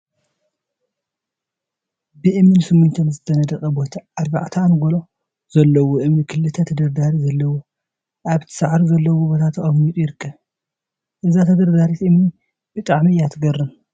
ብእምኒን ስሚንቶን ዝተነደቀ ቦታ አርባዕተ አንጎሎ ዘለዎ እምኒ ክልተ ተደርዳሪ ዘለዎ አብቲ ሳዕሪ ዘለዎ ቦታ ተቀሚጡ ይርከብ፡፡ እዛ ተደርዳሪት እምኒ ብጣዕሚ እያ ትገርም፡፡